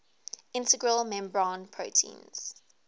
integral membrane proteins